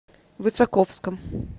высоковском